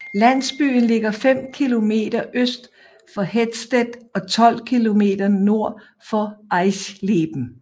Landsbyen ligger 5 km øst for Hettstedt og 12 km nord for Eisleben